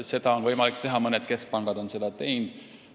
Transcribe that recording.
Seda on võimalik teha, mõned keskpangad ongi nii teinud.